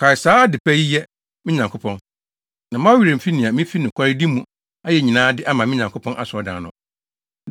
Kae saa ade pa yi yɛ, me Nyankopɔn, na mma wo werɛ mfi nea mifi nokwaredi mu ayɛ nyinaa de ama me Nyankopɔn Asɔredan no.